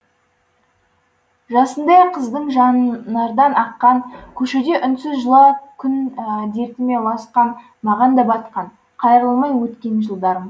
жасындай қыздың жанар дан аққан көшеде үнсіз жылға күн дертіме ұласқан маған да батқан қайрылмай өткен жылдарым